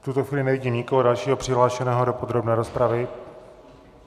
V tuto chvíli nevidím nikoho dalšího přihlášeného do podrobné rozpravy.